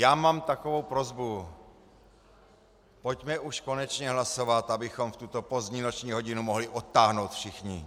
Já mám takovou prosbu: Pojďme už konečně hlasovat, abychom v tuto pozdní noční hodinu mohli odtáhnout všichni!